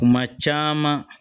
Kuma caman